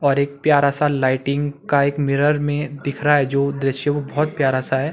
और एक प्यारा सा लाइटिंग का एक मिरर में दिख रहा जो दृश्य वो बहुत प्यारा सा है।